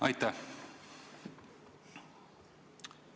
Aitäh!